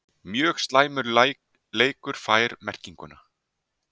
Mjög slæmur leikur fær merkinguna??